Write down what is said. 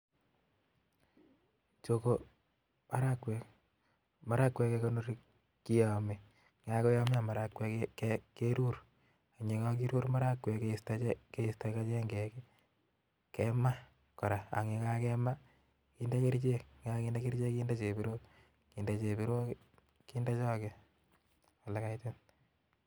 Chu komarakwek, marakwek kekonori kiyame yekakoyamio marakwek kerur AK yekakerur marakwek Krista chengek AK kema koraa AK yekakemaa kendee kerchek, AK yikagende kerchek kende chebirok akende choge